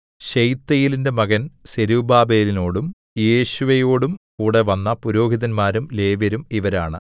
ശെയല്ത്തീയേലിന്റെ മകൻ സെരുബ്ബാബേലിനോടും യേശുവയോടും കൂടെ വന്ന പുരോഹിതന്മാരും ലേവ്യരും ഇവരാണ്